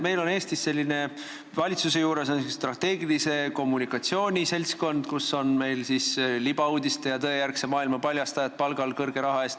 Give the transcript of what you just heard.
Meil on Eestis valitsuse juures selline strateegilise kommunikatsiooni seltskond, seal on suure raha eest palgal libauudiste ja tõejärgse maailma paljastajad.